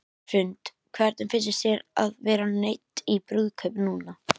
Hrund: Hvernig fyndist þér að vera neydd í brúðkaup núna?